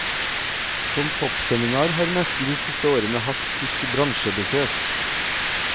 Som toppseminar har messen de siste årene hatt tysk bransjebesøk.